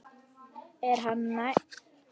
Er hann nægilega góður?